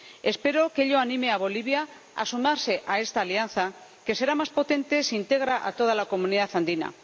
Espero que ello anime a Bolivia a sumarse a esta alianza, que será más potente si integra a toda la Comunidad Andina.